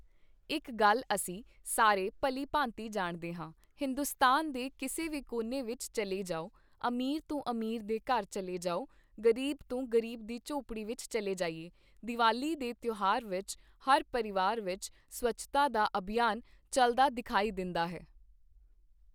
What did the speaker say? ਇੱਕ ਗੱਲ ਅਸੀਂ ਸਾਰੇ ਭਲੀਭਾਂਤ ਜਾਣਦੇ ਹਾਂ, ਹਿੰਦੁਸਤਾਨ ਦੇ ਕਿਸੇ ਵੀ ਕੋਨੇ ਵਿੱਚ ਚੱਲੇ ਜਾਓ, ਅਮੀਰ ਤੋਂ ਅਮੀਰ ਦੇ ਘਰ ਚੱਲੇ ਜਾਓ, ਗ਼ਰੀਬ ਤੋਂ ਗ਼ਰੀਬ ਦੀ ਝੌਂਪੜੀ ਵਿੱਚ ਚੱਲੇ ਜਾਈਏ, ਦੀਵਾਲੀ ਦੇ ਤਿਉਹਾਰ ਵਿੱਚ, ਹਰ ਪਰਿਵਾਰ ਵਿੱਚ ਸਵੱਛਤਾ ਦਾ ਅਭਿਆਨ ਚੱਲਦਾ ਦਿਖਾਈ ਦਿੰਦਾ ਹੈ।